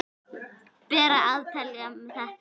Ber að átelja þetta.